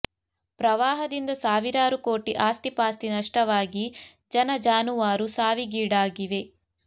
ಪ್ರವಾಹದಿಂದ ಸಾವಿರಾರು ಕೋಟಿ ಆಸ್ತಿ ಪಾಸ್ತಿ ನಷ್ಟವಾಗಿ ಜನ ಜಾನುವಾರು ಸಾವಿಗೀಡಾಗಿವೆ